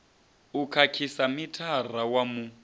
u khakhisa mithara wa mu